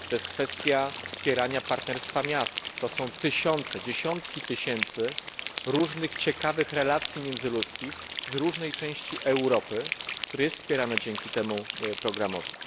Kwestia wspierania partnerstwa miast to są tysiące, dziesiątki tysięcy różnych ciekawych relacji międzyludzkich z różnej części Europy, które są wspierane dzięki temu programowi.